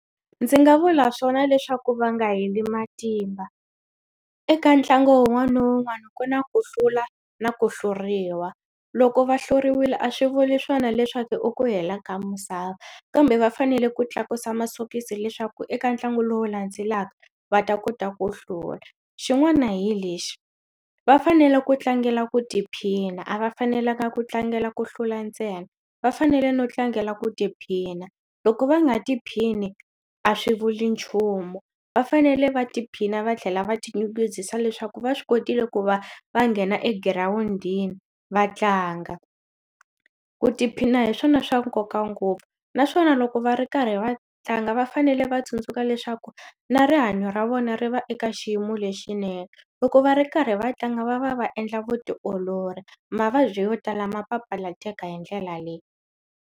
Ndzi nga vula swona leswaku va nga heli matimba eka ntlangu wun'wana na wun'wana ku na ku hlula na ku hluriwa loko va hluriwile a swi vuli swona leswaku u ku hela ka misava kambe va fanele ku tlakusa masokisi leswaku eka ntlangu lowu landzelaka va ta kota ku hlula xin'wana hi lexi va fanele ku tlangela ku tiphina a va fanelanga ku tlangela ku hlula ntsena va fanele no tlangela ku tiphina loko va nga tiphini a swi vuli nchumu va fanele va tiphina va tlhela va ti nyungubyisa leswaku va swi kotile ku va va nghena egirawundini va tlanga ku tiphina hi swona swa nkoka ngopfu naswona loko va ri karhi va tlanga va fanele va tsundzuka leswaku na rihanyo ra vona ri va eka xiyimo lexinene loko va ri karhi va tlanga va va va endla vutiolori mavabyi yo tala ma papalateka hi ndlela leyi.